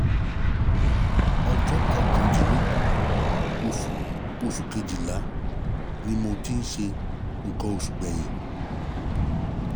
Ọjọ́ kọkàndínlógún oṣù oṣù Kejìlá ni mo ti ṣe nǹkan oṣù gbẹ̀yìn